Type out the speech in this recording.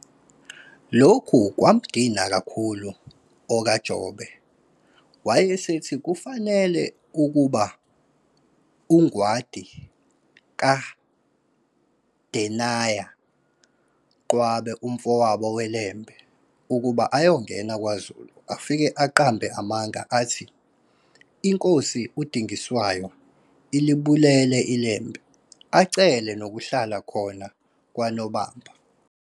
Lokhu kwamdina kakhulu okaJobe, wayesethi kufanele kuhambe uNgwadi kaGendeyana Qwabe umfowabo weLembe, ukuba ayongena kwaZulu afike aqambe amanga athi, iNkosi uDingiswayo ilibulele iLembe, acele nokuhlala khona kwaNobamba.